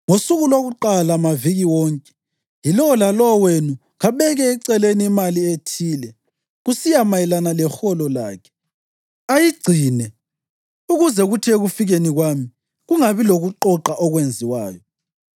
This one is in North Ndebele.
Ngosuku lwakuqala maviki wonke, yilowo lalowo wenu kabeke eceleni imali ethile kusiya mayelana leholo lakhe, ayigcine, ukuze kuthi ekufikeni kwami kungabi lokuqoqa okwenziwayo.